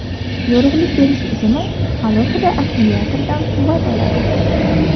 Yorug‘lik berish tizimi alohida akkumulyatordan quvvat oladi.